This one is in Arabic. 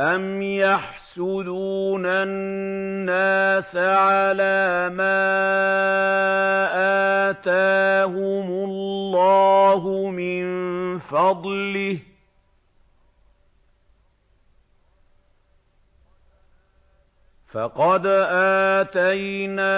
أَمْ يَحْسُدُونَ النَّاسَ عَلَىٰ مَا آتَاهُمُ اللَّهُ مِن فَضْلِهِ ۖ فَقَدْ آتَيْنَا